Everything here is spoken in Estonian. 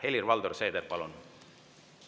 Helir-Valdor Seeder, palun!